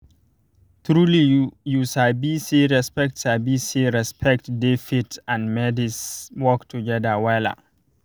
trulyyou sabi say respect sabi say respect dey faith and medice work together wella